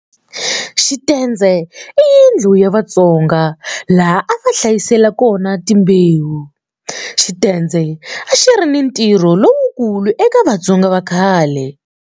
Xitendze i yindlu ya Vatsonga laha a va hlayisela kona timbewu. Xitendze a xi ri ni ntirho lowukulu eka Vatsonga va khale.